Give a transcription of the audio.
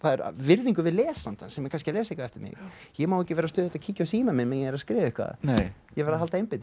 virðingu við lesandann sem er kannski að lesa eitthvað eftir mig ég má ekki vera stöðugt að kíkja á símann minn meðan ég er að skrifa ég verð að halda einbeitingu